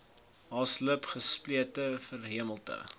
haaslip gesplete verhemelte